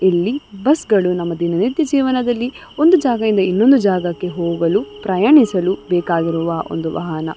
ಇಲ್ಲಿ ಬಸ್ಸುಗಳು ನಮ್ಮ ದಿನನಿತ್ಯ ಜೀವನಗಳ್ಳಲ್ಲಿ ಒಂದು ಜಾಗದಿಂದ ಇನ್ನೊಂದು ಜಾಗಕ್ಕೆ ಹೋಗಲು ಪ್ರಯಾಣಿಸಲು ಬೇಕಾಗಿರುವ ಒಂದು ವಾಹನ.